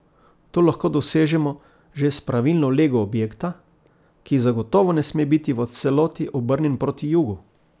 To lahko dosežemo že s pravilno lego objekta, ki zagotovo ne sme biti v celoti obrnjen proti jugu.